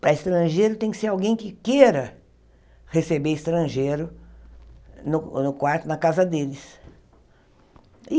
Para estrangeiro tem que ser alguém que queira receber estrangeiro no no quarto, na casa deles.